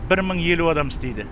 бір мың елу адам істейді